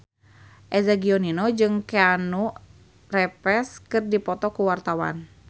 Eza Gionino jeung Keanu Reeves keur dipoto ku wartawan